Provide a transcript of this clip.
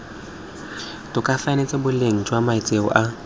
tokafatsang boleng jwa matshelo a